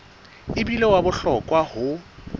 e bile wa bohlokwa ho